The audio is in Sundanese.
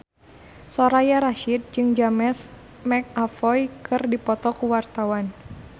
Soraya Rasyid jeung James McAvoy keur dipoto ku wartawan